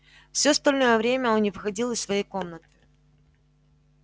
всё остальное время он не выходил из своей комнаты